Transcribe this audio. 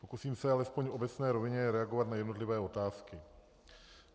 Pokusím se alespoň v obecné rovině reagovat na jednotlivé otázky.